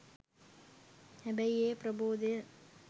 හැබැයි ඒ ප්‍රබෝදය